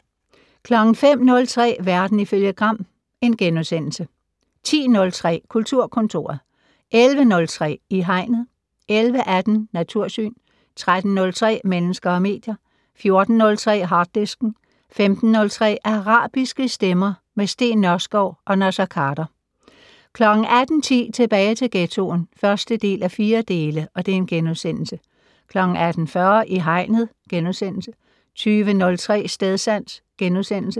05:03: Verden ifølge Gram * 10:03: Kulturkontoret 11:03: I Hegnet 11:18: Natursyn 13:03: Mennesker og medier 14:03: Harddisken 15:03: Arabiske stemmer - med Steen Nørskov og Naser Khader 18:10: Tilbage til ghettoen (1:4)* 18:40: I Hegnet * 20:03: Stedsans *